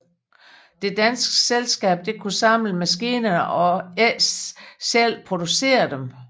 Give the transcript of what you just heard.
Det danske selskab skulle kun samle maskinerne og ikke selv producere dem